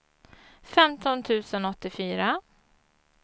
femton tusen åttiofyra